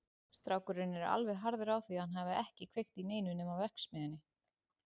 Strákurinn er alveg harður á því að hann hafi ekki kveikt í neinu nema verksmiðjunni.